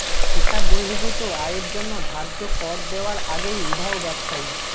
হিসাব বহির্ভূত আয়ের জন্য ধার্য কর দেওয়ার আগেই উধাও ব্যবসায়ী